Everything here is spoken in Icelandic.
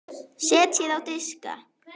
Setjið á diska.